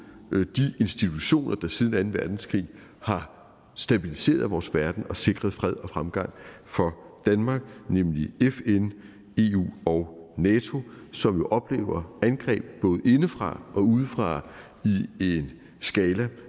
de institutioner der siden anden verdenskrig har stabiliseret vores verden og sikret fred og fremgang for danmark nemlig fn eu og nato som oplever angreb både indefra og udefra i en skala